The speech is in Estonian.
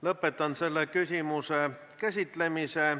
Lõpetan selle küsimuse käsitlemise.